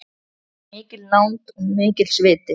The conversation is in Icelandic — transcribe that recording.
Mikil nánd og mikill sviti.